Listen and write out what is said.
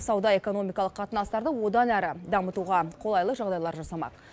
сауда экономикалық қатынастарды одан әрі дамытуға қолайлы жағдайлар жасамақ